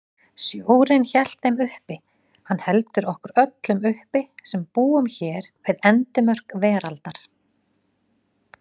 Sjórinn hélt þeim uppi, hann heldur okkur öllum uppi sem búum hér við endimörk veraldar.